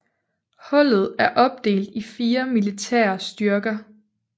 Hullet er opdelt i fire militære styrker